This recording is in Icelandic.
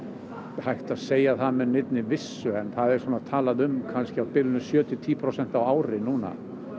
hægt að segja það með neinni vissu en það er talað um kannski á bilinu sjö til tíu prósent á ári núna